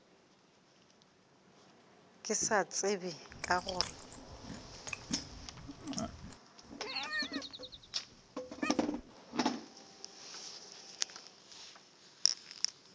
ke sa tsebe ka gore